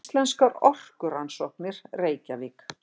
Íslenskar orkurannsóknir, Reykjavík.